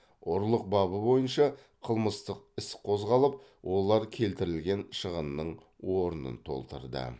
ұрлық бабы бойынша қылмыстық іс қозғалып олар келтірілген шығынның орнын толтырды